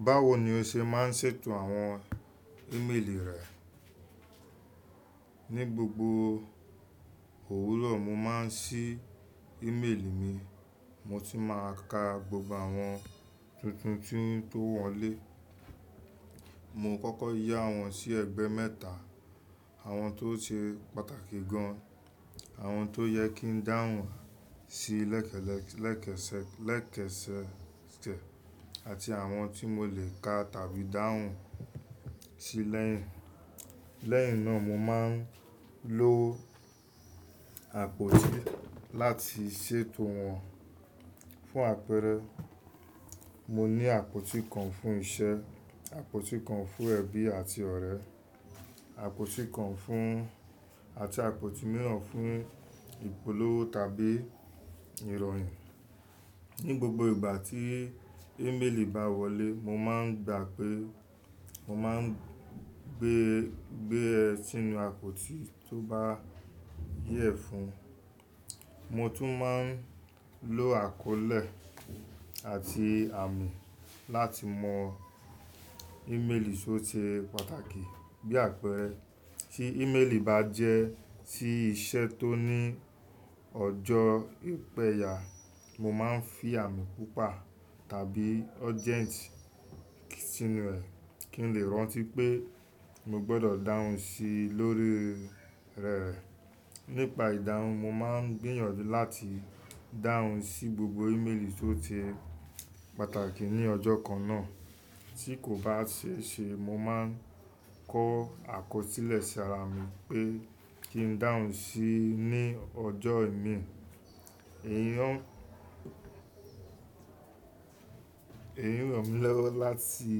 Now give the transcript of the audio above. Báwo ni o ṣe má ń ṣètò àwọn ímeèlì rẹ? Ní gbogbo òwúrọ̀, mo má ń ṣí ímeèlì mi. Mo tún má a ka gbogbo àwọn tuntun tí tó wọlé. Mo kọ́kọ́ yá wọn sí ẹgbẹ́ mẹ́ta: àwọn tó ṣe pàtàkì gan an, àwọn tó yẹ kí n dáhùn sí lẹ́kẹ́sẹ̀, àti àwọn tí mo lè ka tàbí dáhùn sí lẹ́yìn. Lẹ́yìn náà, mo má ń lo àpótí láti ṣètò wọn fún àpẹrẹ. Mo ní àpótí kan fún iṣẹ́, àpótí kan fún ẹbí àti ọ̀rẹ́, àpótí kan fún-- àti àpótí mìíràn fún ìpolówó tàbí ìròyìn. Ní gbogbo ìgbà tí ímeèlì bá wọlé, mo má n gbà pé mo má n gbé, gbé ẹ̀ sínú àpótí tó bá yẹ fún. Motu maa n lo àkọlé àti àmì láti mọ ímeèlì tó ṣe pàtàkì. Bí àpẹẹrẹ, tí ímeèlì bá jẹ́ tí iṣẹ́ tó ní ọjọ́ ìpẹ̀yà, mo má n fí àmì pupa tàbí urgent sínú rẹ̀ kí n lè rántí pé mo gbọdọ̀ dáhùn sí i lórí rí rẹ. Nípa ìdáhùn, mo má n gbìyànjú láti dáhùn sí gbogbo ímeèlì tó ṣe pàtàkì ní ọjọ́ kan náà. Tí kò bá ṣe ṣe, mo má n kọ àkọsílẹ̀ sí àra mi pé kí n dáhùn sí i ní ọjọ́ ìmi. Èèyàn. Èyí ràn mí lọ́wọ́ láti